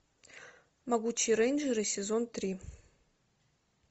могучие рейнджеры сезон три